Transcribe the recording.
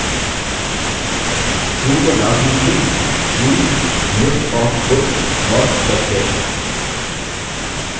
view को name दीजिये view: list of books not checked in